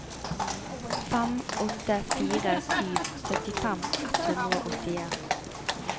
fem åtte fire sju syttifem ett hundre og åttien